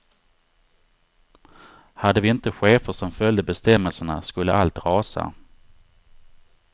Hade vi inte chefer som följde bestämmelserna skulle allt rasa.